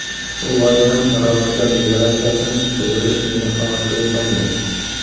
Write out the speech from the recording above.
Shu bois ham daromadlar deklaratsiyasini to‘ldirish meni xavotirga solmaydi.